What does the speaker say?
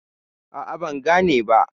A'a, ban gane ba.